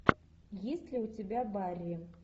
есть ли у тебя барри